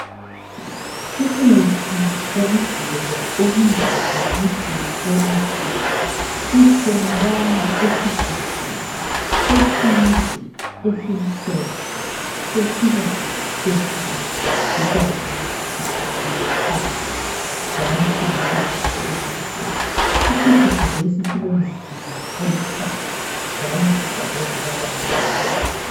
Umuthi wokugcoba obizwa ngokuthi yi proactiv utholakala esigubhini eside esimhlophe esibanzi phezulu kukanti sicakile phansi njalo silesivalo esimhlophe. Isigubhu lesi silomzila oluhlaza njalo sibhalwe ngamabala amnyama.